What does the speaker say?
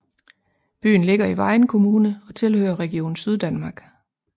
Byen ligger i Vejen Kommune og tilhører Region Syddanmark